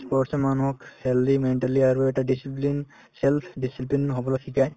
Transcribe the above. sports য়ে মানুহক healthy, mentally আৰু এটা discipline self discipline হবলৈ শিকায়